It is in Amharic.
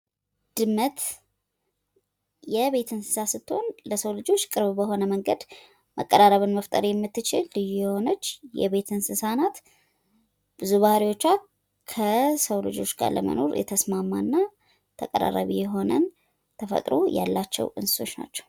ድመት የቤት እንስሳ ስትሆን ለሰው ልጆች ቅርብ በሆነ መንገድ መቀራረብን መፍጠር የምትችል ልዩ የሆነች የቤት እንስሳ ናት። ብዙ ባህሪዎቿ ከሰው ልጆች ጋር ለመኖር የተስማማና ተቀራራቢ የሆነ ተፈጥሮ ያላቸው እንስሶች ናቸዉ።